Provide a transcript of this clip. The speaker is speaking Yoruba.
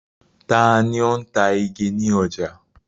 Ta ni ó ń ta igi ní ọjà?